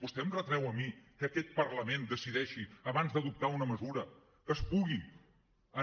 vostè em retreu a mi que aquest parlament decideixi abans d’adoptar una mesura que es pugui